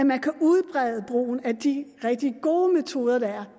man kan udbrede brugen af de rigtig gode metoder der er